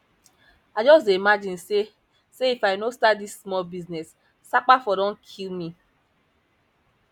i just dey imagine say say if i no start dis small business sapa for don kill me